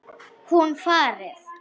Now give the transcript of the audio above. Hún farið.